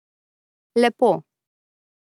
Lepo.